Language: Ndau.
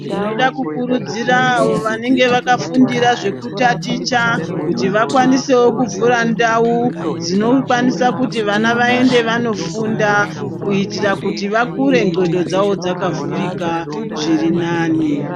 Ndinoda kukurudzira vanenge vakafundira zvekutaticha kuti vakwanisewo kuvhura ndau dzinokwanisa kuti vana vaende vanofunda kuitira kuti vakure ndxondo dzavo dzakavhurika zviri nani.